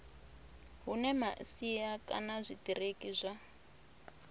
hune masia kana zwitiriki zwa